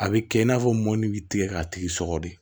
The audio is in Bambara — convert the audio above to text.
A bɛ kɛ i n'a fɔ mɔni bɛ tigɛ k'a tigi sɔgɔ de